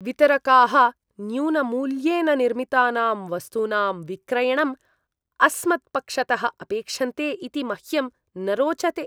वितरकाः न्यूनमूल्येन निर्मितानां वस्तूनां विक्रयणम् अस्मत्पक्षतः अपेक्षन्ते इति मह्यं न रोचते।